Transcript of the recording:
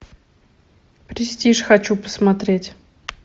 престиж хочу посмотреть